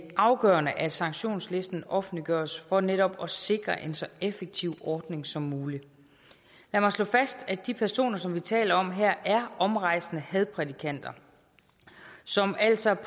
afgørende at sanktionslisten offentliggøres for netop at sikre en så effektiv ordning som muligt lad mig slå fast at de personer som vi taler om her er omrejsende hadprædikanter som altså